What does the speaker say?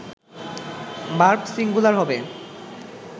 verb singular হবে